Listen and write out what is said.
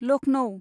Lucknow